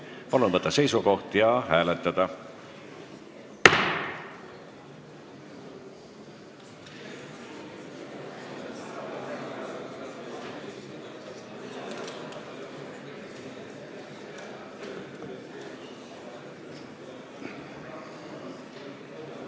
Palun võtta seisukoht ja hääletada!